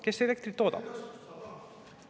Kes elektrit toodab.